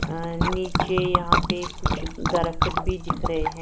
अ नीचे यहां पे कुछ दरख्त भी दिख रहे हैं।